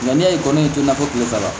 Nka n'i y'a ye ko ne tɛ na fɔ kile saba la